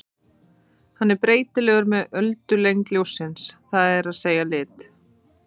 Hann er breytilegur með öldulengd ljóssins, það er að segja lit.